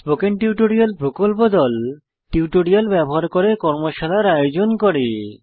spoken tutorial প্রকল্প দল tutorial ব্যবহার করে কর্মশালার আয়োজন করে